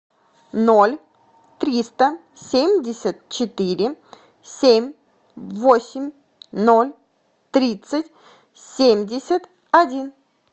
ноль триста семьдесят четыре семь восемь ноль тридцать семьдесят один